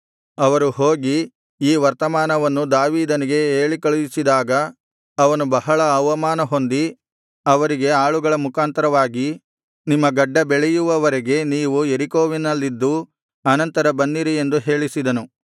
ಅವರು ಹೋಗಿ ಈ ವರ್ತಮಾನವನ್ನು ದಾವೀದನಿಗೆ ಹೇಳಿಕಳುಹಿಸಿದಾಗ ಅವನು ಬಹಳ ಅವಮಾನಹೊಂದಿ ಅವರಿಗೆ ಆಳುಗಳ ಮುಖಾಂತರವಾಗಿ ನಿಮ್ಮ ಗಡ್ಡ ಬೆಳೆಯುವವರೆಗೆ ನೀವು ಯೆರಿಕೋವಿನಲ್ಲಿದ್ದು ಅನಂತರ ಬನ್ನಿರಿ ಎಂದು ಹೇಳಿಸಿದನು